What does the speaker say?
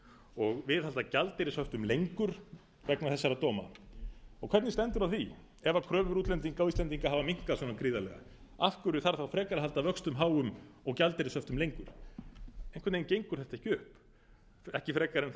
og viðhalda gjaldeyrishöftum lengur vegna þessara dóma hvernig stendur á því ef kröfur útlendinga á íslendinga hafa minnkað svona gríðarlega af hverju þarf þá frekar að halda vöxtum háum og gjaldeyrishöftum lengur einhver veginn gengur þetta ekki upp ekki frekar en